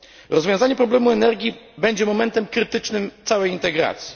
Rozwiązanie problemu energii będzie momentem krytycznym całej integracji.